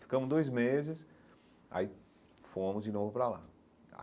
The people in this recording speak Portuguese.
Ficamos dois meses, aí fomos de novo para lá.